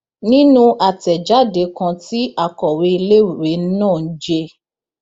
nínú àtẹjáde kan tí akọwé iléèwé náà j